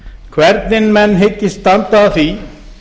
hvernig menn hyggist standa að því